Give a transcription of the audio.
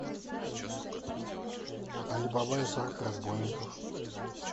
али баба и сорок разбойников